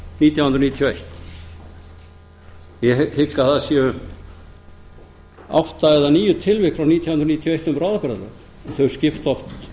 nítján hundruð níutíu og eitt ég hygg að það séu átta eða níu tilvik frá nítján hundruð níutíu og eitt um bráðabirgðalög en þau skipta oft